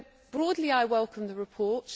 Broadly, I welcome the report.